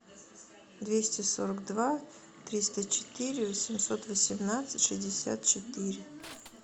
двести сорок два триста четыре восемьсот восемнадцать шестьдесят четыре